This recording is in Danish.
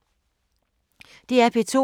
DR P2